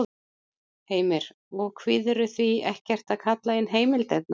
Heimir: Og kvíðirðu því ekkert að kalla inn heimildirnar?